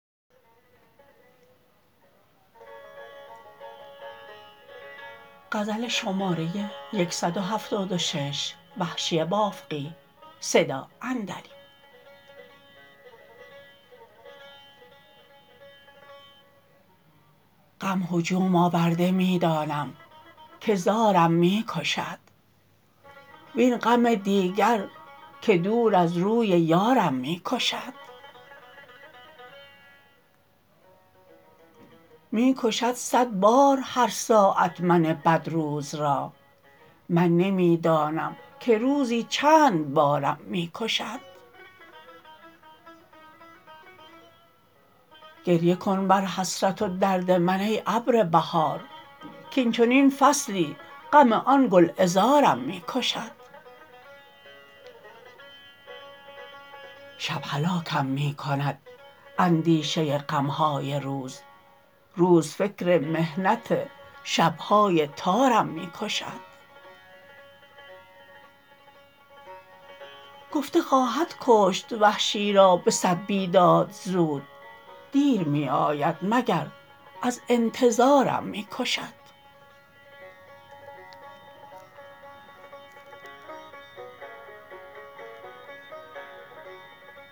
غم هجوم آورده می دانم که زارم می کشد وین غم دیگر که دور از روی یارم می کشد می کشد صد بار هر ساعت من بد روز را من نمی دانم که روزی چند بارم می کشد گریه کن بر حسرت و درد من ای ابر بهار کاینچنین فصلی غم آن گلعذارم می کشد شب هلاکم می کند اندیشه غم های روز روز فکر محنت شب های تارم می کشد گفته خواهد کشت وحشی را به صد بیداد زود دیر می آید مگر از انتظارم می کشد